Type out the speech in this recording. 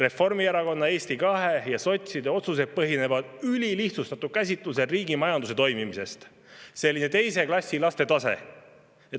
Reformierakonna, Eesti 200 ja sotside otsused põhinevad ülilihtsustatud käsitlusel riigi majanduse toimimisest – selline teise klassi laste tase.